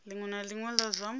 linwe na linwe la zwa